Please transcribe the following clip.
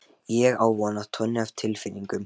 Ég á von á tonni af tilfinningum.